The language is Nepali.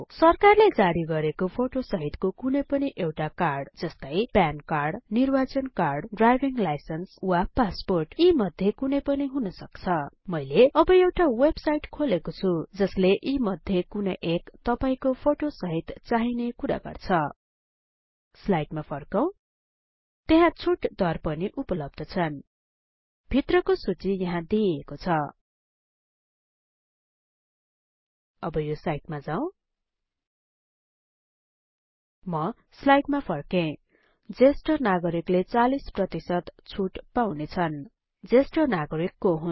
सरकारले जारी गरेको फोटो सहितको कुनै पनि कार्ड जस्तै प्यान कार्ड निर्वाचन कार्ड ड्राइभिङ लाइसेन्स वा पासपोर्ट यी मध्ये कुनै पनि हुनसक्छ मैले अब एउटा वेबसाइट खोलेको छुँ जसले यी मध्ये कुनै एक तपाईको फोटो सहित चाहिने कुरा गर्छ स्लाइडमा फर्कौं त्यहाँ छुट दर पनि उपलब्ध छन् भित्रको सुची यहाँ दिइएको छ अब यो साइटमा जाऊ म स्लाइडमा फर्के ज्येष्ठ नागरिकले ४० छुट पाउने छन् ज्येष्ठ नागरिक को हुन्